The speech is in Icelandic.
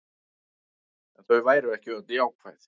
En þau væru ekki öll jákvæð